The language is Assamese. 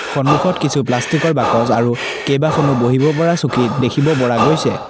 সন্মুখত কিছু প্লাষ্টিকৰ বাকচ আৰু কেবাখনো বহিব পৰা চকী দেখিব পৰা গৈছে।